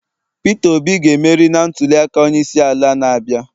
Peter Obi ga-emeri na ntuliaka onyeisiala na-abịa